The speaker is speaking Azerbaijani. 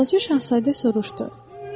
Balaca Şahzadə soruşdu.